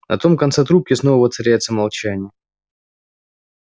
на том конце трубки снова воцаряется молчание